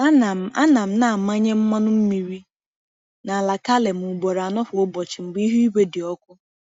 Ana m Ana m na-amanye mmanụ mmiri n’ala kale m ugboro anọ kwa ụbọchị mgbe ihu igwe dị ọkụ.